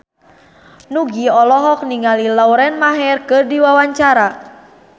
Nugie olohok ningali Lauren Maher keur diwawancara